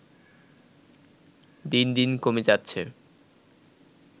দিন দিন কমে যাচ্ছে